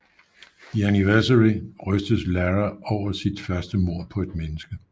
I Anniversary rystes Lara over sit første mord på et menneske